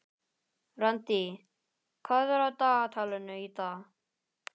Randý, hvað er á dagatalinu í dag?